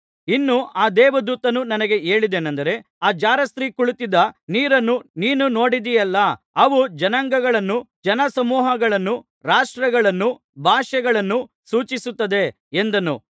ಇನ್ನೂ ಆ ದೇವದೂತನು ನನಗೆ ಹೇಳಿದ್ದೇನಂದರೆ ಆ ಜಾರಸ್ತ್ರೀ ಕುಳಿತ್ತಿದ್ದ ನೀರನ್ನು ನೀನು ನೋಡಿದೆಯಲ್ಲ ಅವು ಜನಾಂಗಳನ್ನು ಜನ ಸಮೂಹಗಳನ್ನು ರಾಷ್ಟ್ರಗಳನ್ನು ಭಾಷೆಗಳನ್ನು ಸೂಚಿಸುತ್ತದೆ ಎಂದನು